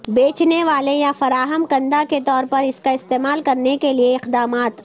بیچنے والے یا فراہم کنندہ کے طور پر اس کا استعمال کرنے کے لئے اقدامات